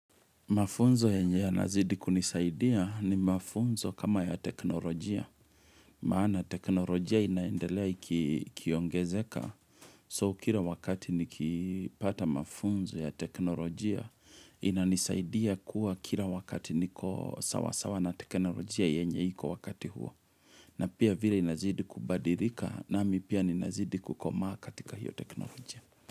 Mafunzo yenye yanazidi kunisaidia ni mafunzo kama ya teknolojia. Maana teknolojia inaendelea ikiongezeka. So, kila wakati nikipata mafunzo ya teknolojia, inanisaidia kuwa kila wakati niko sawasawa na teknolojia yenye iko wakati huo. Na pia vile inazidi kubadilika nami pia ninazidi kukomaa katika hiyo teknolojia.